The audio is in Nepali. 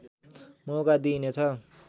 मौका दिइनेछ